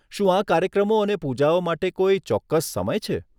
શું આ કાર્યક્રમો અને પૂજાઓ માટે કોઈ ચોક્કસ સમય છે?